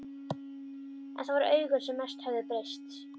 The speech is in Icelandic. En það voru augun sem mest höfðu breyst.